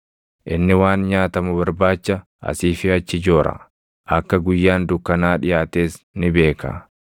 Inni waan nyaatamu barbaacha asii fi achi joora; akka guyyaan dukkanaa dhiʼaates ni beeka.